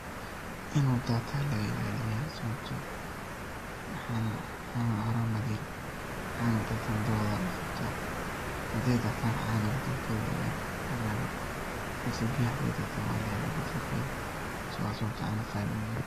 Inu datan aya laga ilaliya sababto ah cana horan ba layiri cana datandabadodha laqabta, haday datan cana badalkoda ciyar ciyar lugu mahelo balse biyo haday haday datan badalkoda walahela wa sabatay cana qali uyihin.